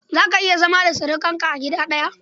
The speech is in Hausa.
Za ka iya zama da surukanka a gida ɗaya?